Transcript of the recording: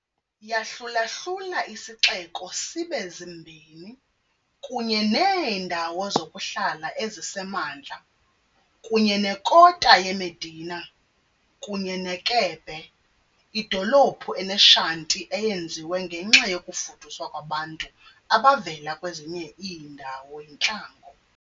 Yahlula-hlula isixeko sibe zimbini, kunye neendawo zokuhlala ezisemantla kunye nekota ye-medina, kunye ne-kebbe, idolophu ene-shanty eyenziwe ngenxa yokufuduswa kwabantu abavela kwezinye iindawo yintlango.